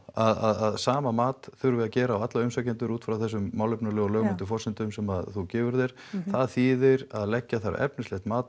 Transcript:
að sama mat þurfi að gera á alla umsækjendur út frá þessum málefnalegu og lögmætu forsendum sem þú gefur þér það þýðir að leggja þarf hæfnislegt mat